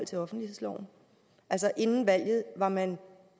til offentlighedsloven altså inden valget var man